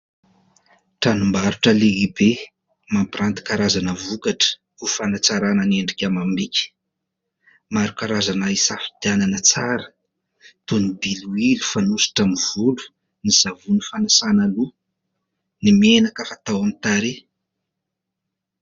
Tranombarotra lehibe mampiranty kazarana vokatra ho fanatsarana ny endrika amam-bika, maro karazana azo hisafidianana tsara toy ny: diloilo fanosotra amin'ny volo, ny savony fanasana loha, n'y menaka fatao amin'ny tarehy.